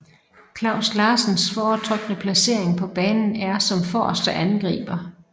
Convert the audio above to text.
Klaus Larsens foretrukne placering på banen er som forreste angriber